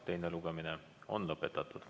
Teine lugemine on lõpetatud.